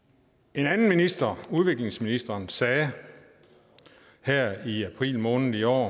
en anden minister udviklingsministeren sagde her i april måned i år